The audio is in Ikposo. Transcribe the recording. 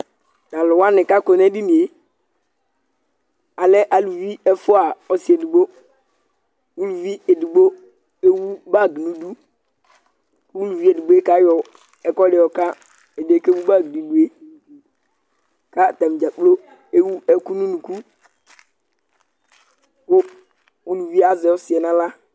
Tʋ alʋ wanɩ kʋ akɔ nʋ edini yɛ, alɛ aluvi ɛfʋa ɔsɩ edigbo Uluvi edigbo ewu bag nʋ idu kʋ uluvi edigbo yɛ kayɔ ɛkʋɛdɩ yɔka ɛdɩ yɛ kʋ ewu bag nʋ idu yɛ kʋ atanɩ dza kplo ewu ɛkʋ nʋ unuku kʋ uluvi yɛ azɛ ɔsɩ yɛ nʋ aɣla